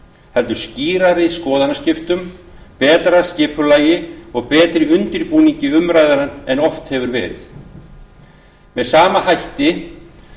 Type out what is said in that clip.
heldur skýrari skoðanaskiptum betra skipulagi og betri undirbúningi umræðna en oft hefur verið með sama hætti